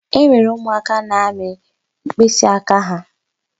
E nwere ụmụaka na-amị mkpịsịaka ha.